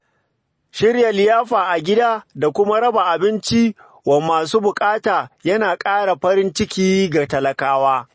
Shirya liyafa a gida da kuma raba abinci wa masu bukata yana ƙara farin ciki ga talakawa.